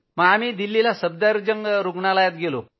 आम्ही दिल्लीला सफरदरजंग रूग्णालयात गेलो